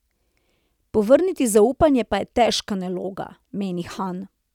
Povrniti zaupanje pa je težka naloga, meni Han.